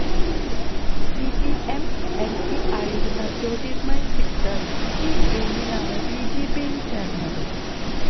CPM MP ആയിരുന്ന ജ്യോതിര്മയി സിക്ദര് ഈ ജൂണിലാണ് ബിജെപിയില് ചേര്ന്നത്